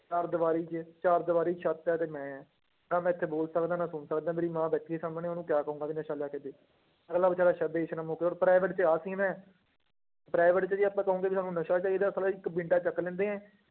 ਚਾਰ ਦੀਵਾਰੀ ਚ, ਚਾਰ ਦੀਵਾਰੀ ਛੱਤ ਆ ਤੇ ਮੈਂ ਹਾਂ, ਨਾ ਮੈਂ ਇੱਥੇ ਬੋਲ ਸਕਦਾਂ ਨਾ ਸੁਣ ਸਕਦਾਂ ਮੇਰੀ ਮਾਂ ਬੈਠੀ ਹੈ ਸਾਹਮਣੇ ਉਹਨੂੰ ਕਿਆ ਕਹਾਂਗੀ ਵੀ ਨਸ਼ਾ ਲਿਆ ਕੇ ਦੇ, ਅਗਲਾ ਬੇਚਾਰਾ ਹੁਣ private ਚ ਆਹ scene ਹੈ private ਚ ਜੇ ਆਪਾਂ ਕਹੋਗੇ ਵੀ ਸਾਨੂੰ ਚਾਹੀਦਾ ਇੱਕ ਡੰਡਾ ਚੁੱਕ ਲੈਂਦੇ ਹੈ,